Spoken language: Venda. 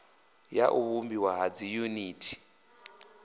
ya u vhumbiwa ha dziyuniti